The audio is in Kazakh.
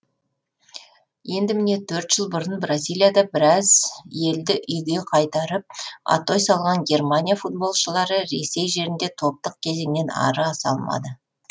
енді міне төрт жыл бұрын бразилияда біраз елді үйге қайтарып атой салған германия футболшылары ресей жерінде топтық кезеңнен ары аса алмады